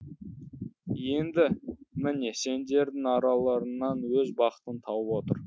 енді міне сендердің араларыңнан өз бақытын тауып отыр